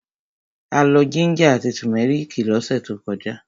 A lọ jíńjà àti tùmẹ́rìkì lọ́sẹ̀ tó kọjá.